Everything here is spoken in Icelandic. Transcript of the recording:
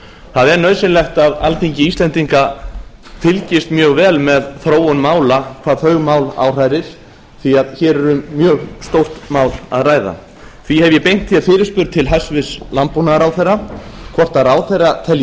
það er nauðsynlegt að alþingi íslendinga fylgist mjög vel með þróun mála hvað þau mál áhrærir því að hér er um mjög stórt mál að ræða því hef ég beint fyrirspurn til hæstvirts landbúnaðarráðherra hvort ráðherra telji